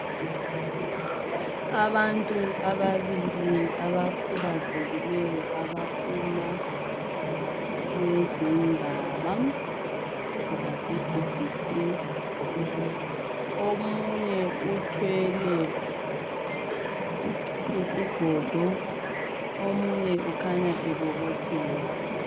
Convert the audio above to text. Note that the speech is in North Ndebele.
Abantu ababili abakhuzeliyo abaphuma kwezendaba zase BBC omunye uthwele isigodo omunye kukhanya ebobotheka.